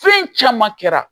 Foyi caman kɛra